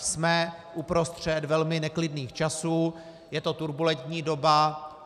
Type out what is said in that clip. Jsme uprostřed velmi neklidných časů, je to turbulentní doba.